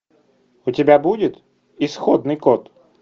у тебя будет исходный код